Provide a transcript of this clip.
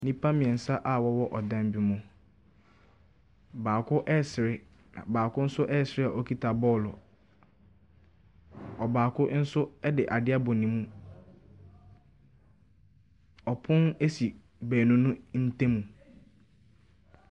Nnipa mmeɛnsa a wɔwɔ ɔdan bi mu. Baako resere, na baako nso resere a ɔkita bɔɔlo. Ɔbaako nso de adeɛ abɔ ne mu. Pono si baabu no ntam.